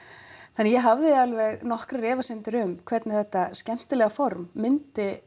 þannig að ég hafði alveg nokkrar efasemdir um hvernig þetta skemmtilega form myndi